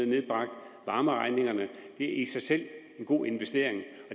nedbragt varmeregningen er i sig selv en god investering